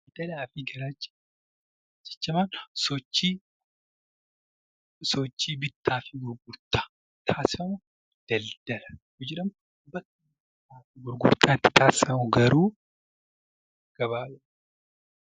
Sochiin bittaa fi gurgurtaa taasifamu daldala yoo jedhamu, bakki bittaa fi gurgurtaan itti taasifamu immoo gabaa jedhama.